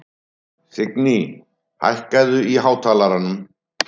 Signý, hækkaðu í hátalaranum.